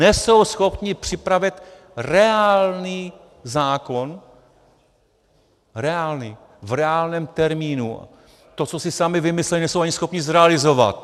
Nejsou schopni připravit reálný zákon, reálný, v reálném termínu, to, co si sami vymysleli, nejsou ani schopni zrealizovat.